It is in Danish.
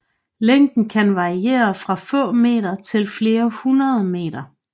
Længden kan variere fra få meter til flere hundrede meter